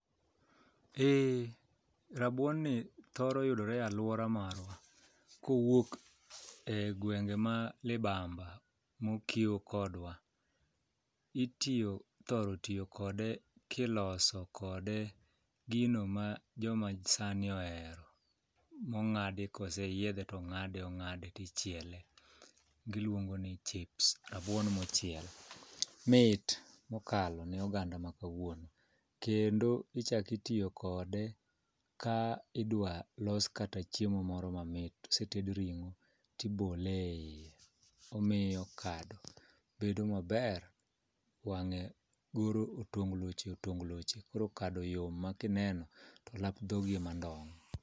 Eh, rabuonni thoro yudore alwora marwa kowuok e gwenge ma libamba mokiew kodwa. Ithoro tiyo kode kiloso kode gino ma jomasani ohero mong'adi koseyiedhe tong'ade ong'ade tichiele giluonge ni chips rabuon mochiel. Mit mokalo ne oganda ma kawuono kendo ichako itiyo kode ka idwalos kata chiemo moro mamit oseted ring'o tibole iye, omiyo kado bedo maber wang'e goro otongloche otongloche koro kado yom ma kineno to olap dhogi ema ndong'.